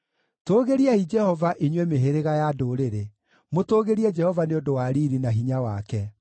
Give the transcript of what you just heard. Tũũgĩriai Jehova, inyuĩ mĩhĩrĩga ya ndũrĩrĩ, mũtũgĩrie Jehova nĩ ũndũ wa riiri na hinya wake.